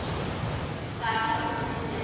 Það er soldið fyndið.